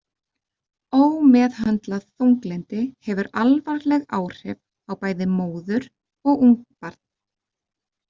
Ómeðhöndlað þunglyndi hefur alvarleg áhrif á bæði móður og ungbarn.